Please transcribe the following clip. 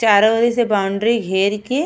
चारो ओरी से बाउंड्री घेर के --